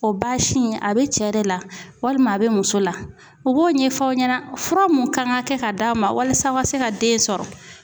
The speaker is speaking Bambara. O baasi in a be cɛ de la walima a be muso la . U b'o ɲɛfɔ aw ɲɛna fura mun kan ka kɛ ka d'aw ma walasa a ka se ka den sɔrɔ.